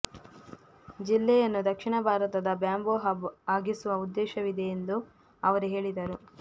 ಜಿಲ್ಲೆಯನ್ನು ದಕ್ಷಿಣ ಭಾರತದ ಬ್ಯಾಂಬೂ ಹಬ್ ಆಗಿಸುವ ಉದ್ದೇಶವಿದೆ ಎಂದು ಅವರು ಹೇಳಿದರು